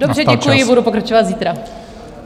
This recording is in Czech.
Dobře, děkuji, budu pokračovat zítra.